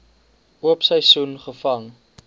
oop seisoen gevang